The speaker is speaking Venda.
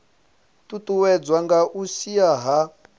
ṱuṱuwedzwa nga u shaea ha